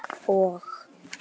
Og?